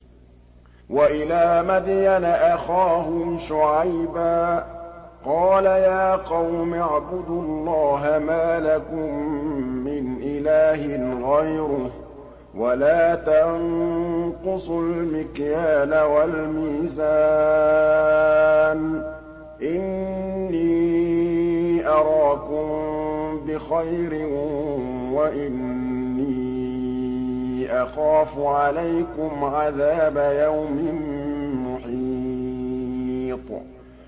۞ وَإِلَىٰ مَدْيَنَ أَخَاهُمْ شُعَيْبًا ۚ قَالَ يَا قَوْمِ اعْبُدُوا اللَّهَ مَا لَكُم مِّنْ إِلَٰهٍ غَيْرُهُ ۖ وَلَا تَنقُصُوا الْمِكْيَالَ وَالْمِيزَانَ ۚ إِنِّي أَرَاكُم بِخَيْرٍ وَإِنِّي أَخَافُ عَلَيْكُمْ عَذَابَ يَوْمٍ مُّحِيطٍ